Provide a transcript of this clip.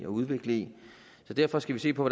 udvikle i så derfor skal vi se på